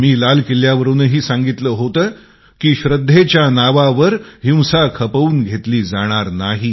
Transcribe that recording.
मी लाल किल्यावरून सुद्धा सांगितले होते की आस्थेच्या नावावर हिंसा खपून घेतली जाणार नाही